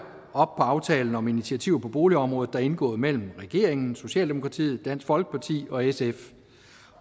op på aftalen om initiativer på boligområdet der er indgået mellem regeringen socialdemokratiet dansk folkeparti og sf